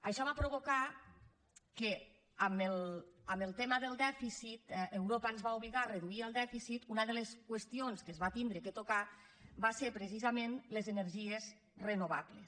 això va provocar que en el tema del dèficit europa ens va obligar a reduir el dèficit una de les qüestions que es va haver de tocar van ser precisament les energies renovables